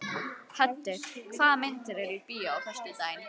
Höddi, hvaða myndir eru í bíó á föstudaginn?